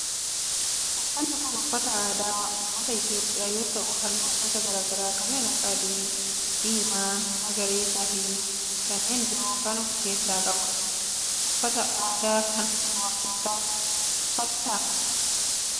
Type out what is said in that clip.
Uffanni kun uffata aadaa ummata Itiyoophiyaa yoo ta'u halluu gosa garaa garaa kanneen akka adii, diimaa, magariisa, keelloo fi kanneen biroo kan of keessaa qabudha. Uffata aadaa kana dubartootatu uffata.